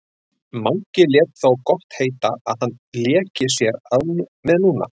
Mangi lét það þó gott heita að hann léki sér með núna.